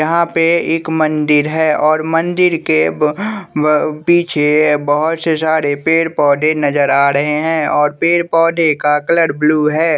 यहां पे एक मंदिर है और मंदिर के ब पीछे बहुत से सारे पेड़ पौधे नजर आ रहे हैं और पेड़ पौधे का कलर ब्लू है।